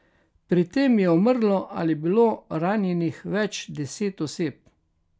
Pri tem je umrlo ali bilo ranjenih več deset oseb.